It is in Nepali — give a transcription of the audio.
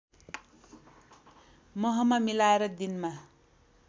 महमा मिलाएर दिनमा